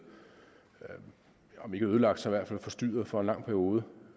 om ikke ødelagt så i hvert fald forstyrret for en lang periode